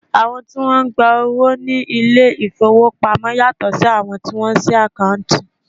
Àwọn tí Wọ́n ń gba owó ní ilé ìfowópamọ́ yàtọ̀ sí àwọn tí wọ́n máa ń sí àkáǹtì.